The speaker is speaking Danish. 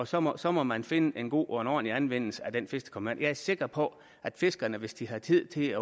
så må så må man finde en god og ordentlig anvendelse af den fisk der kommer ind jeg er sikker på at fiskerne hvis de har tid til at